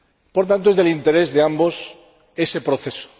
Por tanto, redunda en interés de ambos ese proceso.